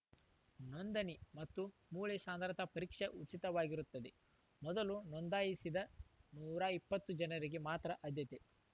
ನೋಂದಣಿ ಮತ್ತು ಮೂಳೆ ಸಾಂದ್ರತಾ ಪರೀಕ್ಷೆ ಉಚಿತವಾಗಿರುತ್ತದೆ ಮೊದಲು ನೊಂದಾಯಿಸಿದ ನೂರ ಇಪ್ಪತ್ತು ಜನರಿಗೆ ಮಾತ್ರ ಆಧ್ಯತೆ